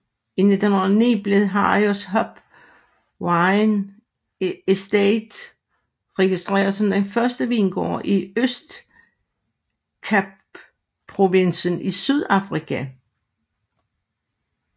I 2009 blev Harrison Hope Wine Estate registreret som den første vingård i Østkapprovinsen i Sydafrika